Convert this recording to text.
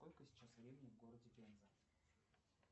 сколько сейчас времени в городе пенза